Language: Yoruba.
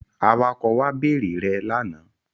Awakọ̀ wa bèrè rẹ lánàá.